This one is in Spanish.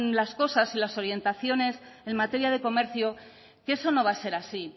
las cosas y las orientaciones en materia de comercio que eso no va a ser así